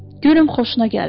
Görüm xoşuna gəlib?